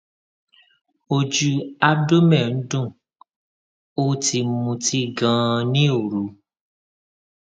ojú abdomen ń dun ó ti mutí ganan ní òru